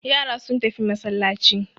Yara sun tafi masallaci.